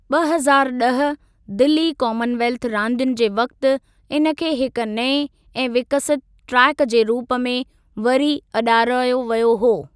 ॿ हज़ारु ॾह दिल्ली कॉमनवेल्थ रांदियुनि जे वक़्ति इन खे हिकु नए ऐं विकसित ट्रैक जे रूप में वरी अॾारायो वियो हो।